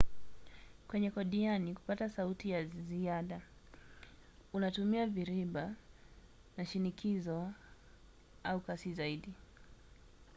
kwenye kodiani kupata sauti ya ziada unatumia viriba na shinikizo au kasi zaidi